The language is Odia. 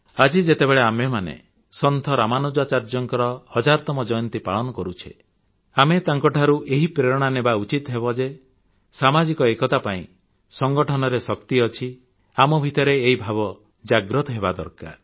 ଆଜି ଯେତେବେଳେ ଆମେମାନେ ସନ୍ଥ ରାମାନୁଜାଚାର୍ଯ୍ୟଙ୍କର ହଜାରତମ ଜୟନ୍ତୀ ପାଳନ କରୁଛେ ଆମେ ତାଙ୍କଠାରୁ ଏହି ପ୍ରେରଣା ନେବା ଉଚିତ ଯେ ସାମାଜିକ ଏକତା ପାଇଁ ସଂଗଠନରେ ଶକ୍ତି ଅଛି ଆମ ଭିତରେ ଏହି ଭାବ ଜାଗ୍ରତ ହେବା ଦରକାର